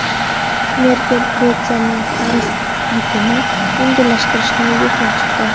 Merkel Gretsiyaning qarz yukini yengillashtirishni yoqlab chiqdi.